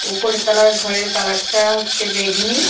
উপরে তলার ঘরের কালারটা হচ্ছে বেগুনী।